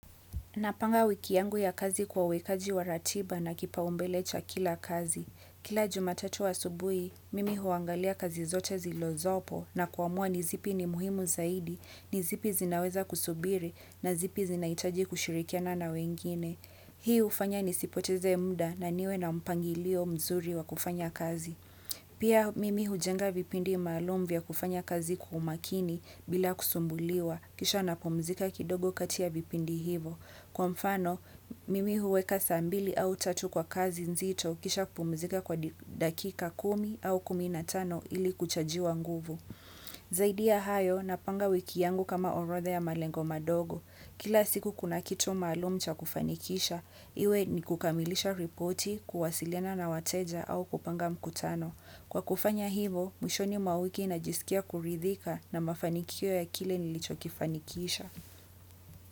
Napanga wiki yangu ya kazi kwa wekaji wa ratiba na kipa umbele cha kila kazi. Kila jumatatu wa subui, mimi huangalia kazi zote zilo zopo na kuamua nizipi ni muhimu zaidi, nizipi zinaweza kusubiri na zipi zinaitaji kushirikiana na wengine. Hi hufanya nisipoteze muda na niwe na mpangilio mzuri wa kufanya kazi. Pia mimi hujenga vipindi maalum vya kufanya kazi kumakini bila kusumbuliwa kisha na pomzika kidogo katia vipindi hivo. Kwa mfano, mimi huweka saambili au tatu kwa kazi nzito kisha kupumzika kwa dakika kumi au kuminatano ili kuchajiwa nguvu. Zaidi ya hayo, napanga wiki yangu kama orotha ya malengo madogo. Kila siku kuna kitu maalum cha kufanikisha, iwe ni kukamilisha ripoti, kuwasilena na wateja au kupanga mkutano. Kwa kufanya hivo, mwishoni mwa wiki najisikia kuridhika na mafanikio ya kile nilicho kifanikisha.